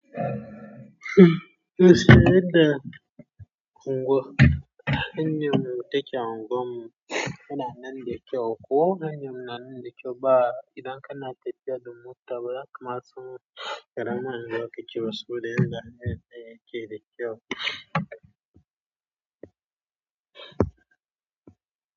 Yesh, eea unguwa. Hanyan mu take unguwarmu, yana nan da kyau, ko hanyan mu yana nan da kyau ba. Idan kana tafiya da mota, bazaka matso karama zaki ci wasu dayanda, meye ce da kyau.